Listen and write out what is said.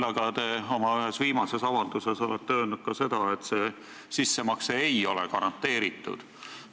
Samas, ühes oma viimases avalduses olete öelnud ka seda, et see sissemakse ei ole garanteeritud.